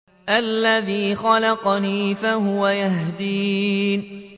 الَّذِي خَلَقَنِي فَهُوَ يَهْدِينِ